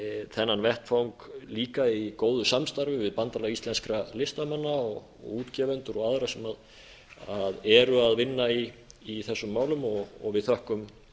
þennan vettvang líka í góðu samstarfi við bandalag íslenskra listamanna og útgefendur og aðra sem eru að vinna í þessum málum við þökkum